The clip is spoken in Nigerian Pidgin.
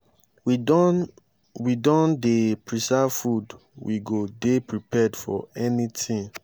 we don we don dey preserve food we go dey prepared for anytin.